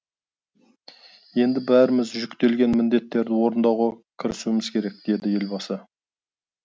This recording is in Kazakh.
енді бәріміз жүктелген міндеттерді орындауға кірісуіміз керек деді елбасы